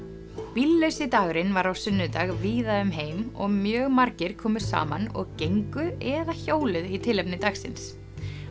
bíllausi dagurinn var á sunnudag víða um heim og mjög margir komu saman og gengu eða hjóluðu í tilefni dagsins